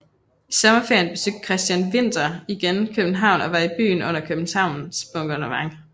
I sommerferien besøgte Christian Winther igen København og var i byen under Københavns bombardement